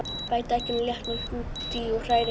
Bætið egginu og léttmjólkinni út í og hrærið.